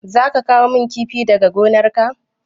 Za ka kawo min kifi daga gonar ka?